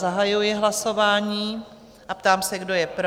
Zahajuji hlasování a ptám se, kdo je pro?